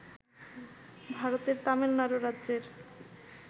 ভারতের তামিলনাড়ু রাজ্যের